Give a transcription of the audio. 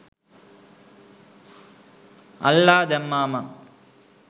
අල්ලා දැම්මා මං